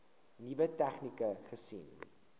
nuwe tegnieke gesien